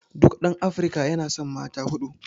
duk ɗan Afrika yana san mata huɗu